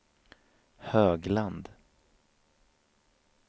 Högland